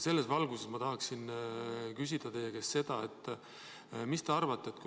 Selles valguses ma tahaksin küsida teie arvamust.